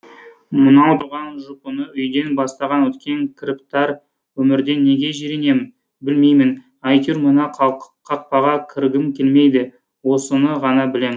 мынау тұрған жұпыны үйден бастан өткен кіріптар өмірден неге жиренем білмеймін әйтеуір мына қақпаға кіргім келмейді осыны ғана білем